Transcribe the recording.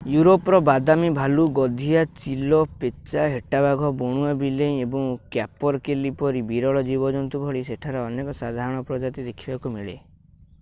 Europe ର ବାଦାମି ଭାଲୁ ଗଧିଆ ଚିଲ ପେଚା ହେଟାବାଘ ବଣୁଆ ବିଲେଇ ଏବଂ କ୍ୟାପରକେଲି ପରି ବିରଳ ଜୀବଜନ୍ତୁ ଭଳି ସେଠାରେ ଅନେକ ସାଧାରଣ ପ୍ରଜାତି ଦେଖିବାକୁ ମିଳେ